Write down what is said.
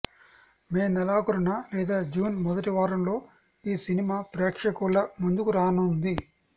మే నెలాఖరున లేదా జూన్ మొదటివారంలో ఈ సినిమా ప్రేక్షకుల ముందుకు రానున్నది